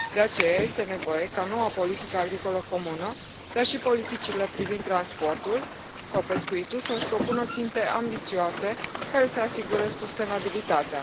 De aceea, este nevoie ca noua politică agricolă comună, dar și politicile privind transportul sau pescuitul să își propună ținte ambițioase, care să asigure sustenabilitatea.